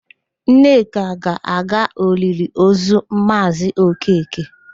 Nneka ga-aga oliliozu Maazị Okeke.